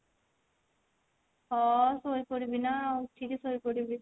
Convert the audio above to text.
ହଁ ଶୋଇପଡିବି ନା ଉଠିକି ଶୋଇପଡିବି